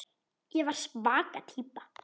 Ég var svaka týpa.